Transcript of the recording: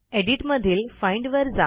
edit मधील find वर जा